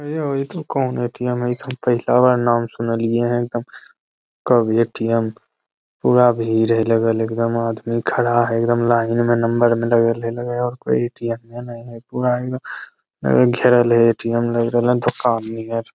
ए हो इ तो कौन ए.टी.एम. है इ तो हम पहला बार नाम सुनलिये है एकदम कब ए.टी.एम. पूरा भीड़ है लगल एकदम आदमी खड़ा है एकदम लाइन में नंबर में लगल है लगल है और कोई ए.टी.एम. नहीं है पूरा एकदम घेरल है ए.टी.एम. लग रहल है दूकान नियर --